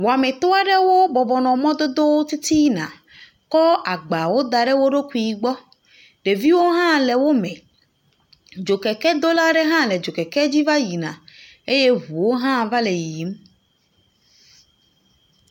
Wɔmitɔ aɖewo bɔbɔ nɔ mɔdodowo titina kɔ agbawo da ɖe woɖokui gbɔ. Ɖeviwo hã le wo me. Dzokekedola aɖe hã le dzokeke dzi va yi na eye ŋuwo hã va le yiyim.